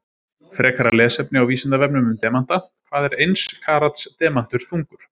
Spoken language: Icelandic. Frekara lesefni á Vísindavefnum um demanta: Hvað er eins karats demantur þungur?